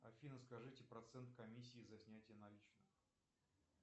афина скажите процент комиссии за снятие наличных